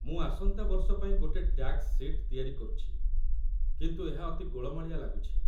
ମୁଁ ଆସନ୍ତା ବର୍ଷ ପାଇଁ ଗୋଟେ ଟ୍ୟାକ୍ସ ସିଟ୍ ତିଆରି କରୁଛି, କିନ୍ତୁ ଏହା ଅତି ଗୋଳମାଳିଆ ଲାଗୁଛି